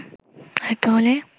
আরেকটু হলেই